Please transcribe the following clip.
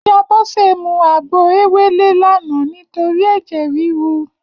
Iyá Bose mú àgbó éwélé làná nitóri èjè rirú